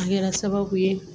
A kɛra sababu ye